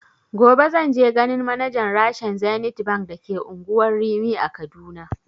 Gobe zanje ganin manajan rashen zenith bank da ke unguwar rimi a kaduna